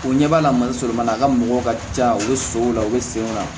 U ɲɛ b'a la mali sɔrɔ a ka mɔgɔw ka ca u be so o la u be sen na